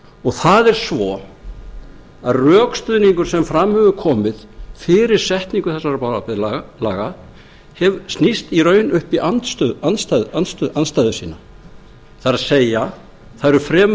dæmum það er svo að rökstuðningur sem fram hefur komið fyrir setningu þessara bráðabirgðalaga snýst í raun upp í andstæðu sína það er það eru fremur